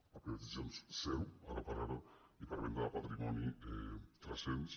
per privatitzacions ze·ro ara per ara i per venda de patrimoni tres cents